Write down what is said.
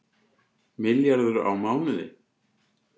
Milljarður á mánuði